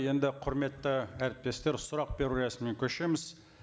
енді құрметті әріптестер сұрақ беру рәсіміне көшеміз